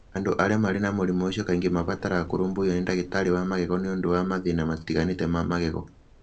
Andũ arĩa marĩ na mũrimũ ũcio kaingĩ nĩ mabataraga kũrũmbũiyo nĩ ndagĩtarĩ wa magego nĩ ũndũ wa mathĩna matiganĩte ma magego.